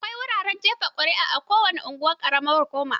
Akwai wuraren jefa ƙuri'a a kowane unguwar ƙaramar hukuma.